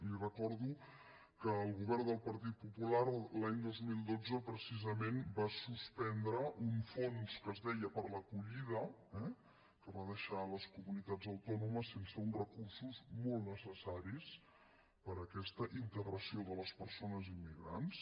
li recordo que el govern del partit popular l’any dos mil dotze precisament va suspendre un fons que es deia per a l’acollida eh que va deixar les comunitats autònomes sense uns recursos molt necessaris per a aquesta integració de les persones immigrants